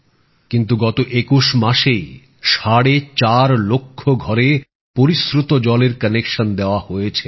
কিন্তু গত ২১ মাসেই সাড়ে চার লক্ষ ঘরে পরিশ্রুত জলের কানেকশন দেওয়া হয়েছে